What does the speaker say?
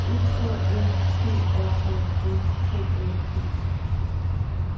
E K S T R A S K A T